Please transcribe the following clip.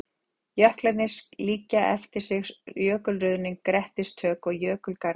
Jöklarnir skildu líka eftir sig jökulruðning, grettistök og jökulgarða.